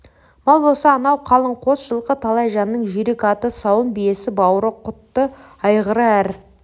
мал болса анау қалың қос жылқы талай жанның жүйрік аты сауын биесі бауыры құтты айғыры әр